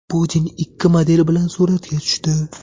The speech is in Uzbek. Putin ikki model bilan suratga tushdi .